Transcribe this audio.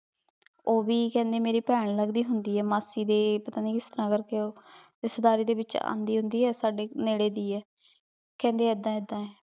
ਊ ਵੀ ਕਹੰਦਾ ਮੇਇਰ ਪੈਣ ਲਗਦੀ ਹੁੰਦੀ ਆਯ ਮਾਸੀ ਦੀ ਪਤਾ ਨਾਈ ਕਿਸ ਤਰਹ ਕਰ ਕੇ ਊ ਰਿਸ਼੍ਤਾਯ੍ਦਾਰੀ ਦੇ ਵਿਚ ਆਂਡਿ ਹੁੰਦੀ ਆਯ ਸਾਡੀ ਨੀਰੇ ਦੀ ਆਯ ਕੇਹ੍ਨ੍ਦੀ ਏਦਾਂ ਏਦਾਂ ਆਯ